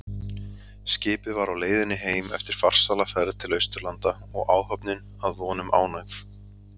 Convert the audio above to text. Skipið var á leiðinni heim eftir farsæla ferð til Austurlanda og áhöfnin að vonum ánægð.